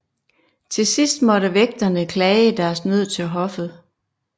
Til sidst måtte vægterne klage deres nød til hoffet